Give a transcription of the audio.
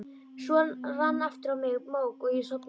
Svo rann aftur á mig mók og ég sofnaði.